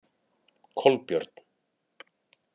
Kolbjörn